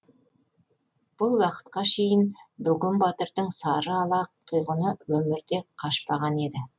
бұл уақытқа шейін бөген батырдың сары ала тұйғыны өмірде қашпаған еді